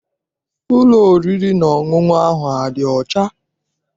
Ụlọ oriri na ọṅụṅụ ahụ adị ọcha?